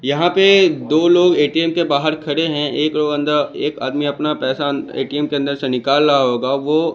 यहां पे दो लोग ए_टी_एम के बाहर खड़े हैं एक लोग अंदर एक आदमी अपना पैसा ए_टी_एम के अंदर से निकाल रहा होगा वो--